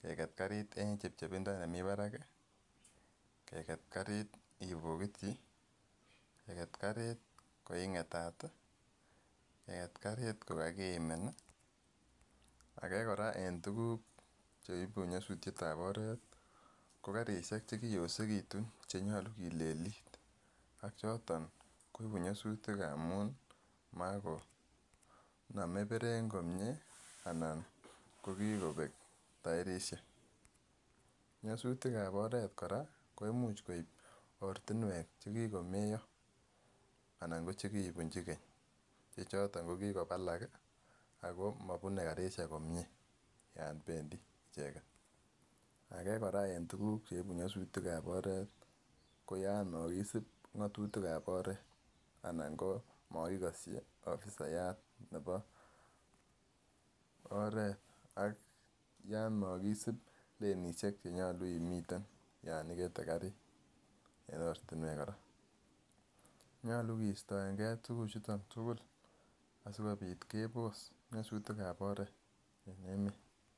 keket karit en chepchepindo nemii barak kii, keket karit ibokitii, keket karit ko ingetet tii, keket karit kokakiimi nii, age koraa en tukuk cheibu nyosutyet ab oret ko karishek chekiyosekitun chenyolu kilelit choton koibu nyosutik amun makonome berek komie anan ko kikobe toerishek. Nyosutik ab oret koraa ko imuch koib ortinwek chekikomeyo anan ko chekibunchi keny ko choton kokikobalak kii ako mobune karishek komie ako mobune karishek komie yon bendii ichek. Age koraa en tukuk cheibu nyosutik ab oret ko yon mokisip ngotutik ab oret anan ko mokikoshi offisayat nebo oret ak yon mokisib lelishek cheyolu imiten yon ikete karit en ortinwek koraa, nyolu kistoen gee tukuchu tukul sikobit kebos nyosutik ab oret.